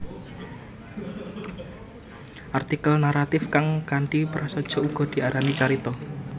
Artikel naratif kang kanthi prasaja uga diarani carita